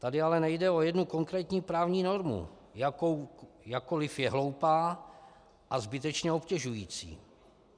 Tady ale nejde o jednu konkrétní právní normu, jakkoliv je hloupá a zbytečně obtěžující.